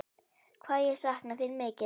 Hvað ég sakna þín mikið.